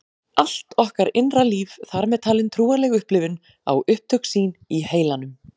Allt okkar innra líf, þar með talin trúarleg upplifun, á upptök sín í heilanum.